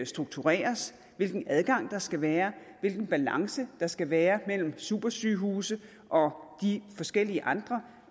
struktureres hvilken adgang der skal være hvilken balance der skal være mellem supersygehuse og de forskellige andre